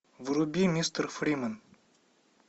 вруби мистер фримен